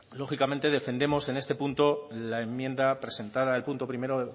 lógicamente defendemos en este punto la enmienda presentada el punto primero